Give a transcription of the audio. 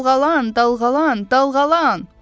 Dalğalan, dalğalan, dalğalan.